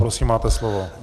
Prosím, máte slovo.